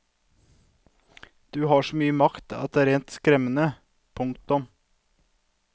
Du har så mye makt at det er rent skremmende. punktum